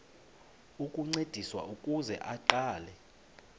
ukuncediswa ukuze aqale